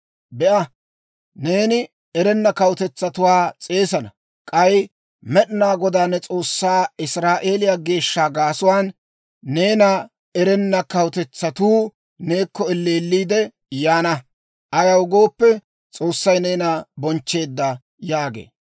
Be'a, neeni erenna kawutetsatuwaa s'eesana; k'ay Med'inaa Godaa ne S'oossaa Israa'eeliyaa Geeshsha gaasuwaan, neena erenna kawutetsatuu neekko elleelliide yaana. Ayaw gooppe, S'oossay neena bonchcheedda» yaagee.